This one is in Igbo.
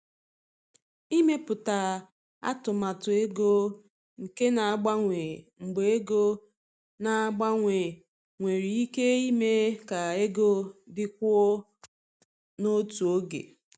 Ịmepụta atụmatụ ego nke na-agbanwe mgbe ego na-agbanwe nwere ike ime ka ego dịkwuo n’otu oge.